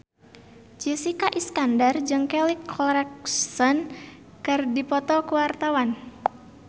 Jessica Iskandar jeung Kelly Clarkson keur dipoto ku wartawan